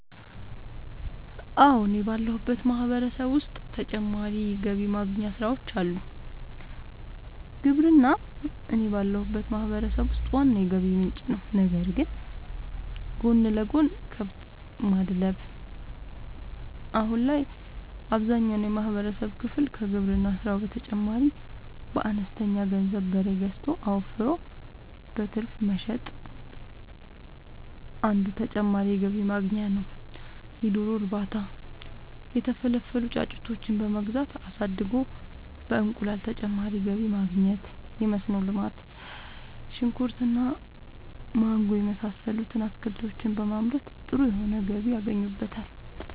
አወ እኔ ባለሁበት ማህበረሰብ ዉስጥ ተጨማሪ ገቢ ማግኛ ስራወች አሉ። ግብርና እኔ ባለሁበት ማህበረሰብ ውስጥ ዋና የገቢ ምንጭ ነዉ ነገር ግን ጎን ለጎን :- ከብት ማድለብ :- አሁን ላይ አብዛኛውን የማህበረሰብ ክፍል ከግብርና ስራው በተጨማሪ በአነስተኛ ገንዘብ በሬ ገዝቶ አወፍሮ በትርፍ መሸጥ አንዱ ተጨማሪ የገቢ ማግኛ ነዉ የዶሮ እርባታ:- የተፈለፈሉ ጫጩቶችን በመግዛት አሳድጎ በእንቁላል ተጨማሪ ገቢ ማግኘት የመስኖ ልማት :-ሽንኩርት እና ማንጎ የመሳሰሉት አትክልቶችን በማምረት ጥሩ የሆነ ገቢ ያገኙበታል